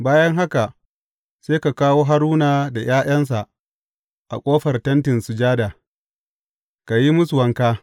Bayan haka sai ka kawo Haruna da ’ya’yansa a ƙofar Tentin Sujada ka yi musu wanka.